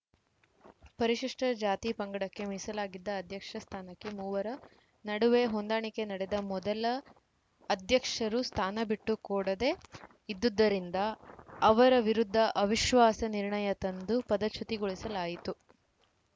ಪರಿಶಿಷ್ಠ ಜಾತಿ ಪಂಗಡಕ್ಕೆ ಮೀಸಲಾಗಿದ್ದ ಅಧ್ಯಕ್ಷ ಸ್ಥಾನಕ್ಕೆ ಮೂವರ ನಡುವೆ ಹೊಂದಾಣಿಕೆ ನಡೆದ ಮೊದಲ ಅಧ್ಯಕ್ಷರು ಸ್ಥಾನ ಬಿಟ್ಟು ಕೋ ಡದೇ ಇದ್ದುದ್ದರಿಂದ ಅವರ ವಿರುದ್ಧ ಅವಿಶ್ವಾಸ ನಿರ್ಣಯ ತಂದು ಪದಚ್ಯುತಿಗೊಳಿಸಲಾಯಿತು